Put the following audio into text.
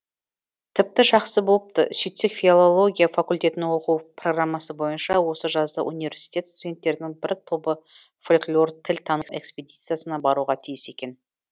тіпті жақсы болыпты сөйтсек филология факультетінің оқу программасы бойынша осы жазда университет студенттерінің бір тобы фольклор тіл тану экспедициясына баруға тиіс екен